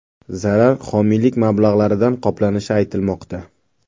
Zarar homiylik mablag‘laridan qoplanishi aytilmoqda.